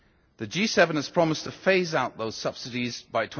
The G7 has promised to phase out those subsidies